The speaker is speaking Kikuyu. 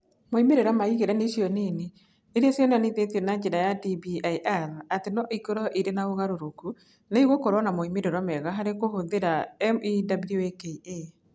Moimĩrĩro ma igeranio icio nini, iria cionanĩtio na njĩra ya DBIR atĩ no ikorũo irĩ ũgarũrũku, nĩ igũkorũo na moimĩrĩro mega harĩ kũhũthĩra MEWAKA.